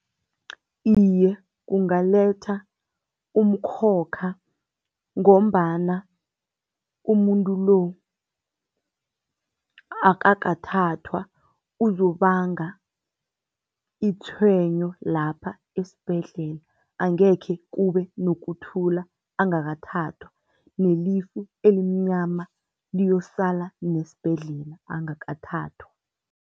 Iye, kungaletha umkhokha ngombana umuntu lo akakathathwa uzokubanga itjhwenyo lapha esibhedlela. Angekhe kube nokuthula angakathathwa nelifu elimnyama lizokusala nesibhedlela angakathathwa.